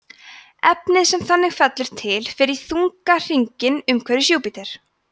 efnið sem þannig fellur til fer í þunna hringinn umhverfis júpíter